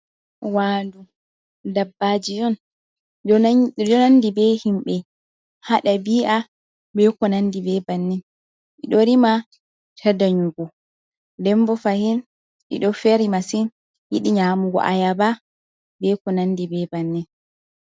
Wandu dabbajiyon, ɗiɗi nandi be himɓe, haɗabi'a ɓe ko nandi be bannin, ɓeɗo rima ta danyugo, ndenbo fahin ɗiɗo feri masin, yiɗii nyamugo ayaba be konandi be bannin.